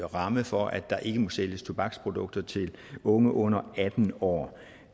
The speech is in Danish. rammer for at der ikke må sælges tobaksprodukter til unge under atten år